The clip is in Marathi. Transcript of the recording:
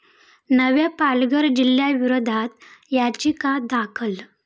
नव्या पालघर जिल्ह्याविरोधात याचिका दाखल